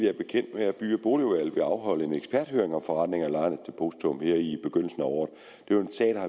er bekendt med at by og boligudvalget vil afholde en eksperthøring om forrentning af lejernes depositum her i begyndelsen af året